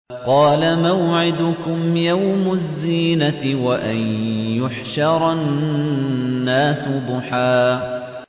قَالَ مَوْعِدُكُمْ يَوْمُ الزِّينَةِ وَأَن يُحْشَرَ النَّاسُ ضُحًى